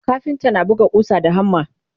kafinta na buga ƙusa da hammer